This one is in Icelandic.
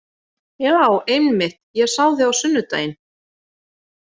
Já, einmitt, ég sá þig á sunnudaginn.